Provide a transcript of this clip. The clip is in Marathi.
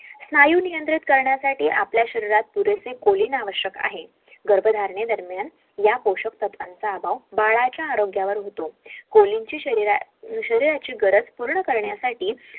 स्नायू नियंत्रित करण्यासाठी आपल्या शरीरात पुरेसे कोलीन आवश्यक आहे गर्भधारणे दरम्यान या पोषक तत्वांचा अभाव बाळाच्या आरोग्यावर होतो कोलिन ची शरीर शरीराची गरज पूर्ण करण्यासाठी